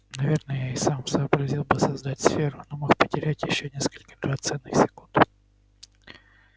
наверное я и сам сообразил бы создать сферу но мог потерять ещё несколько драгоценных секунд